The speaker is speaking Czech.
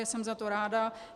Jsem za to ráda.